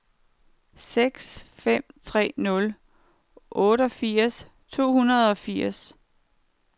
seks fem tre nul otteogfirs otte hundrede og firs